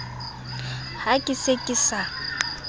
ha ke se ke sa